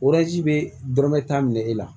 bɛ dɔrɔmɛ tan minɛ e la